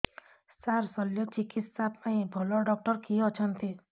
ସାର ଶଲ୍ୟଚିକିତ୍ସା ପାଇଁ ଭଲ ଡକ୍ଟର କିଏ ଅଛନ୍ତି